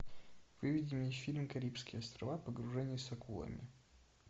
выведи мне фильм карибские острова погружение с акулами